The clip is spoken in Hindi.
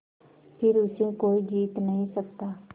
फिर उसे कोई जीत नहीं सकता